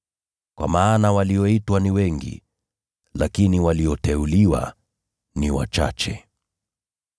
“Kwa maana walioitwa ni wengi, lakini walioteuliwa ni wachache.”